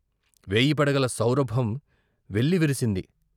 వేయి పడగల సౌరభం వెల్లివిరిసింది.